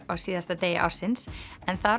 á síðasta degi ársins en þar